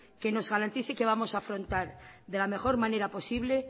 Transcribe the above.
que nos garantice que vamos a afrontar de la mejor manera posible